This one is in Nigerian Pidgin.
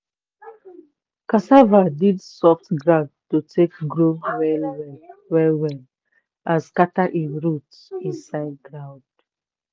cassava need soft ground to take grow well well well well and scatter him root inside ground.